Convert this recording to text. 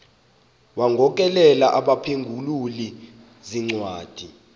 wagokelela abaphengululi zincwadi